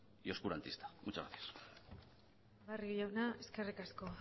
y oscurantista muchas gracias barrio jauna eskerrik asko